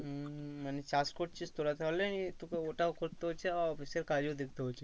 হম মানে চাষ করছিস তোরা তাহলে তোকে ওটাও করতে হচ্ছে আবার office এর কাজও দেখে হচ্ছে।